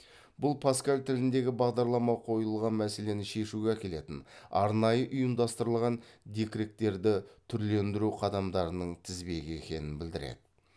бұл паскаль тіліндегі бағдарлама қойылған мәселені шешуге әкелетін арнайы ұйымдастырылған декректерді түрлендіру қадамдарының тізбегі екенін білдіреді